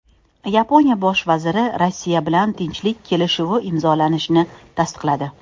Yaponiya bosh vaziri Rossiya bilan tinchlik kelishuvi imzolanishini tasdiqladi.